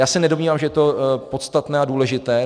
Já se nedomnívám, že je to podstatné a důležité.